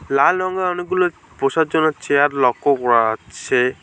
লাল রঙের অনেকগুলো বসার জন্য চেয়ার লক্ষ্য করা যাচ্ছে।